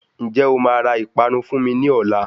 Ñjẹ́ o máa ra ìpanu fún mi ní ọ̀la?